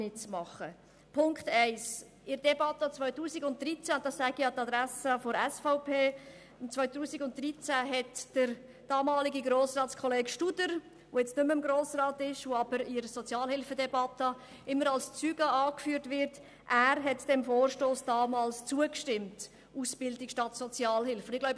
Erstens: In der Debatte im Jahr 2013 – ich sage dies an die Adresse der SVP – hatte der damalige Grossrat Studer, der jetzt nicht mehr im Grossen Rat sitzt, aber in der Sozialhilfedebatte immer als Zeuge angeführt wird, dem Vorstoss «Ausbildung statt Sozialhilfe» zugestimmt.